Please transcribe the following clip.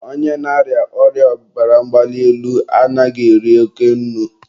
onye ọ bụla na-arịa ọrịa ọbara mgbali elu anaghị eri oke nnu.